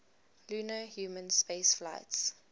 lunar human spaceflights